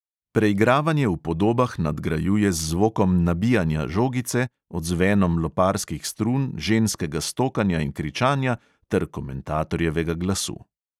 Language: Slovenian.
Preigravanje v podobah nadgrajuje z zvokom nabijanja žogice, odzvenom loparskih strun, ženskega stokanja in kričanja ter komentatorjevega glasu.